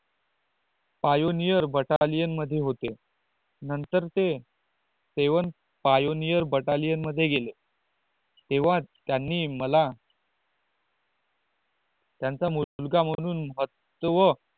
pioneer batalian मध्ये होते नंतर ते seven pioneer batalian मध्ये गेले तेव्हा त्यांनी मला त्यांचा मूलगा म्हणून महत्व